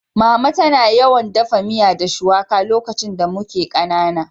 Mama tana yawan daffa miya da shuwaka lokacin da muke kanana.